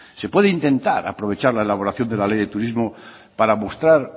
se puede intentar aprovechar la elaboración de la ley de turismo para mostrar